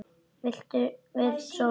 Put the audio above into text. Vill sofa lengur.